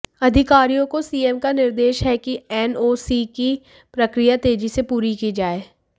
अधिकारियों को सीएम का निर्देश है कि एनओसी की प्रक्रिया तेजी से पूरी की जाए